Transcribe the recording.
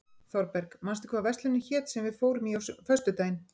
Þorberg, manstu hvað verslunin hét sem við fórum í á föstudaginn?